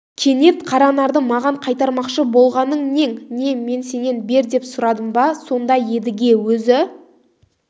кенет қаранарды маған қайтармақшы болғаның нең не мен сенен бер деп сұрадым ба сонда едіге өзі